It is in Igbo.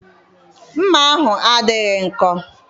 Mma ahụ adịghị nkọ.